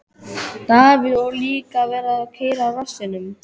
Davíð: Og líka að vera að keyra á rassinum.